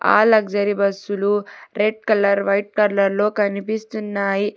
ఆ లగ్జరీ బస్సులు red colour white colour లో కనిపిస్తున్నాయి.